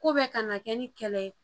Ko bɛɛ kana kɛ ni kɛlɛ ye